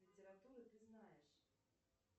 литературу ты знаешь